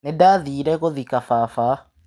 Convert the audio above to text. Nĩndathire gũthika baba.